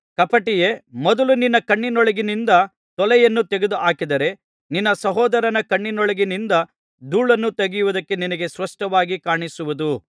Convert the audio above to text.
ಕಪಟಿಯೇ ಮೊದಲು ನಿನ್ನ ಕಣ್ಣಿನೊಳಗಿನಿಂದ ತೊಲೆಯನ್ನು ತೆಗೆದುಹಾಕಿದರೆ ನಿನ್ನ ಸಹೋದರನ ಕಣ್ಣಿನೊಳಗಿನಿಂದ ಧೂಳನ್ನು ತೆಗೆಯವುದಕ್ಕೆ ನಿನಗೆ ಸ್ಪಷ್ಟವಾಗಿ ಕಾಣಿಸುವುದು